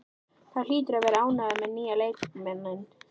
Þú hlýtur að vera ánægður með nýja leikmanninn?